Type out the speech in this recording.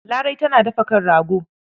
Larai tana dafa kan rago.